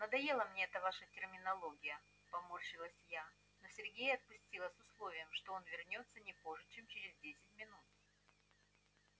надоела мне эта ваша терминология поморщилась я но сергея отпустила с условием что он вернётся не позже чем через десять минут